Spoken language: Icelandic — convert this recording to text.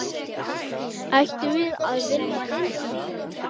Ættum við að vinna deildina?